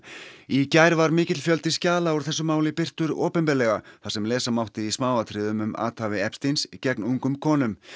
í gær var mikill fjöldi skjala úr þessu máli birtur opinberlega þar sem lesa mátti í smáatriðum um athæfi gegn ungum konum